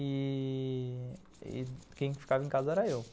E... quem ficava em casa era eu.